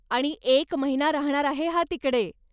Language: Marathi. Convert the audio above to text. आणि एक महिना राहणार आहे हा तिकडे.